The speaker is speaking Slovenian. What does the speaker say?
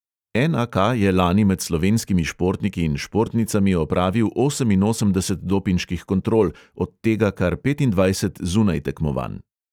En|a|ka je lani med slovenskimi športniki in športnicami opravil oseminosemdeset dopinških kontrol, od tega kar petindvajset zunaj tekmovanj.